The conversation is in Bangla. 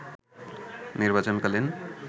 নির্বাচনকালীন